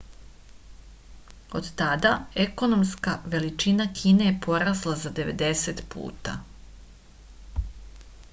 od tada ekonomska veličina kine je porasla za 90 puta